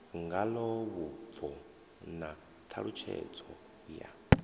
ngalo vhubvo na ṱhalutshedzo ya